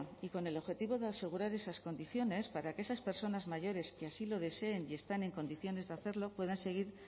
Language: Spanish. y con el objetivo de asegurar esas condiciones para que esas personas mayores que así lo deseen y están en condiciones de hacerlo puedan seguir